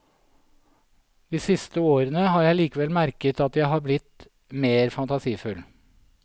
De siste årene har jeg likevel merket at jeg har blitt mer fantasifull.